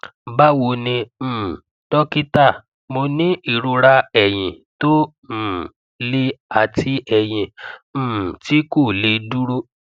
báwo ni um dọkítà mo ní ìrora eyín tó um le àti eyín um tí kò lè dúró